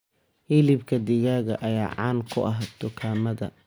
Hilibka digaaga ayaa caan ku ah dukaamada.